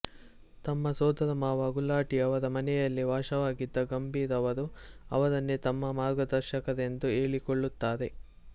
ತಮ್ಮ ಸೋದರಮಾವ ಗುಲಾಟಿ ಅವರ ಮನೆಯಲ್ಲೇ ವಾಸವಾಗಿದ್ದ ಗಂಭೀರ್ ಅವರು ಅವರನ್ನೇ ತಮ್ಮ ಮಾರ್ಗದರ್ಶಕರೆಂದು ಹೇಳಿಕೊಳ್ಳುತ್ತಾರೆ